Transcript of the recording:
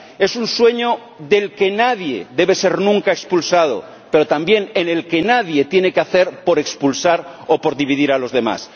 Es un sueño del que nadie debe ser nunca expulsado, pero también en el que nadie tiene que hacer por expulsar o por dividir a los demás.